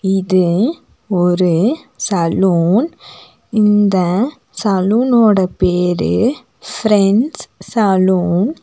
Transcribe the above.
இது ஒரு சலூன் இந்த சலூன் ஓட பேரு ஃப்ரெண்ட்ஸ் சலூன் .